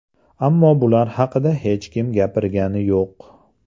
Ammo bular haqida hech kim gapirgani yo‘q.